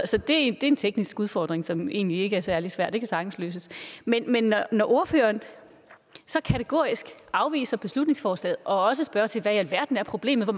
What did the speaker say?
det er en teknisk udfordring som egentlig ikke er særlig svær den kan sagtens løses men når ordføreren så kategorisk afviser beslutningsforslaget og også spørger tilbage alverden er problemet og